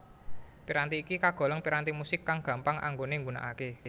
Piranti iki kagolong piranti musik kang gampang anggone nggunakake